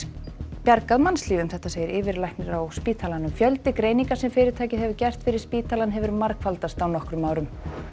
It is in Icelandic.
bjargað mannslífum segir yfirlæknir á spítalanum fjöldi greininga sem fyrirtækið hefur gert fyrir spítalann hefur margfaldast á nokkrum árum